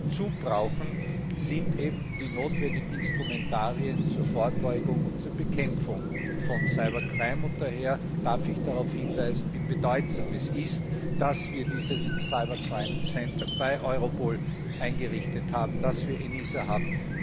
Was wir aber dazu brauchen, sind eben die notwendigen Instrumentarien zur Vorbeugung und zur Bekämpfung von Cybercrime und daher darf ich darauf hinweisen, wie bedeutsam es ist, dass wir dieses Cybercrime Center bei Europol eingerichtet haben, dass wir ENISA haben.